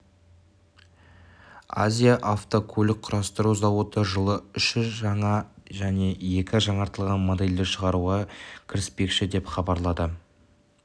азия авто көлік құрастыру зауыты жылы үш жаңа және екі жаңартылған модельді шығаруға кіріспекші деп хабарлады